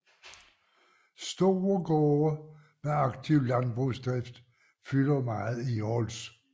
Store gårde med aktiv landbrugsdrift fylder meget i Håls